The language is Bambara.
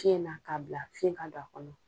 Fiɲɛ na ka bila fiɲɛ ka don a kɔnɔ.